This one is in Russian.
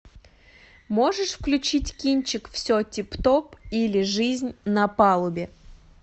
можешь включить кинчик все тип топ или жизнь на палубе